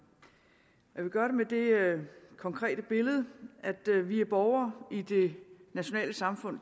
jeg vil gøre det med det konkrete billede at vi er borgere i det nationale samfund